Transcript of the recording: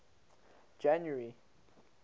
january